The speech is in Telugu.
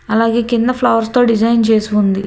అలాగే కింద ఫ్లవర్స్ తో డిజైన్ చేసి ఉంది.